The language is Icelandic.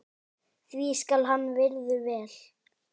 því skal hann virður vel.